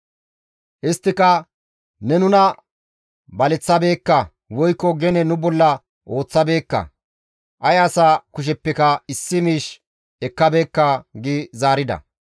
Isttika, «Ne nuna baleththabeekka woykko gene nu bolla ooththabeekka; ay asa kusheppeka issi miish ekkabeekka» gi zaarida.